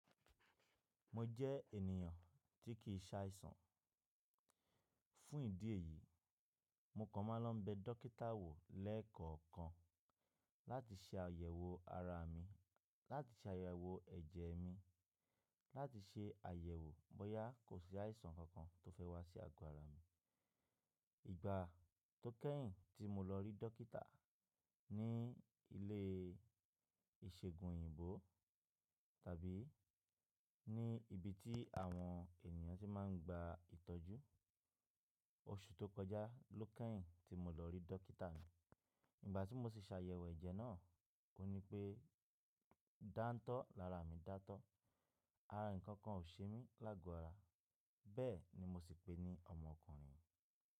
Mo jẹ́ ènìyàn tí kì í ṣe àìsàn. Fún ìdí èyí, mo kan máa ń lọ bẹ dókítà wò lẹ́ẹ̀kọ̀ọ̀kan láti ṣe àyẹ̀wò ara mi, láti ṣe àyẹ̀wò ẹ̀jẹ̀ mi, láti ṣe àyẹ̀wò bóyá kò sí àìsàn kankan tó fẹ́ wá sí àgọ́ ara mi. Ìgbà tó kẹ́yìn tí mo lọ rí dókítà ní ilé ìṣègùn òyìnbó tàbí ní ibi tí àwọn ènìyàn tí máa ń gba ìtọ́jú, oṣù tó kọjá ló kẹ́yìn tí mo lọ rí dókítà. Ìgbà tí mo sì ṣe àyẹ̀wò ẹ̀jẹ̀ náà, ó ní pé dántọ́ lára mi dántọ́, ààyè ǹkan kan ò ṣe mí lágo ara. Bẹ́ẹ̀ ni mo sì pení ọmọkùnrin.